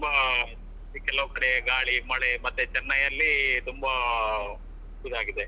ತುಂಬಾ ಕೆಲವ್ ಕಡೆ ಗಾಳಿ ಮಳೆ ಮತ್ತೆ ಚೆನ್ನೈ ಯಲ್ಲಿ ತುಂಬಾ ಇದಾಗಿದೆ.